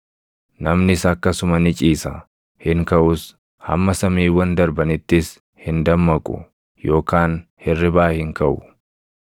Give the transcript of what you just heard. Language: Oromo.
namnis akkasuma ni ciisa; hin kaʼus; hamma samiiwwan darbanittis hin dammaqu yookaan hirribaa hin kaʼu.